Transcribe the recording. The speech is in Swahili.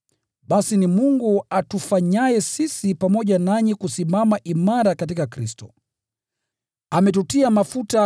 Basi ni Mungu atufanyaye sisi pamoja nanyi kusimama imara katika Kristo. Ametutia mafuta